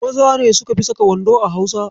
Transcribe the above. Maza ne suka fi saka wando a Hausawa.